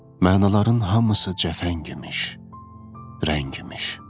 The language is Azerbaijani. Mənaların hamısı cəfəng imiş, rəng imiş.